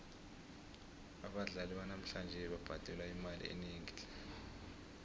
abadlali banamhlanje babhadelwa imali enengi tle